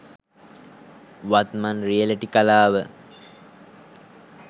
වත්මන් රියලිටි කලාව